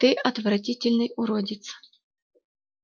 ты отвратительный уродец